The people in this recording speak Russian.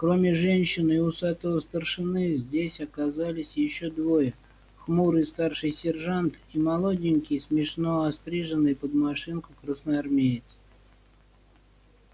кроме женщин и усатого старшины здесь оказались ещё двое хмурый старший сержант и молоденький смешно остриженный под машинку красноармеец